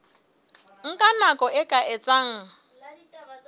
nka nako e ka etsang